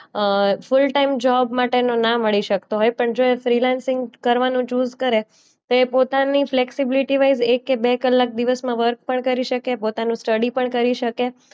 અ full time job માટે તો ના મળી શકતો હોય પણ જો એ ફ્રીલેન્સીંગ કરવાનો ચુઝ કરે તે પોતાની ફેસીલીટી વાઇઝ એક કે બે કલાક દિવસમાં વર્ક પણ કરી શકે, પોતાનું સ્ટડી પણ કરી શકે,